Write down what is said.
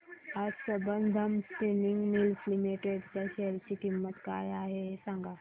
आज Sambandam spinning mills limited च्या share ची किंमत काय आहे हे सांगा